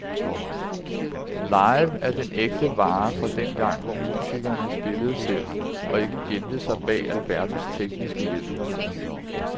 Live er den ægte vare fra dengang, hvor musikerne spillede selv og ikke gemte sig bag alverdens tekniske hjælpemidler.